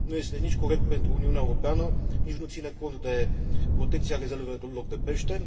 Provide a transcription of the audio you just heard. Nu este nici corect pentru Uniunea Europeană, nici nu ține cont de protecția rezervelor de pește